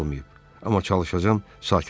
Amma çalışacağam sakit olum.